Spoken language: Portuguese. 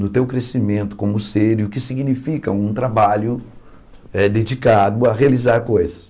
No teu crescimento como ser e o que significa um trabalho eh dedicado a realizar coisas.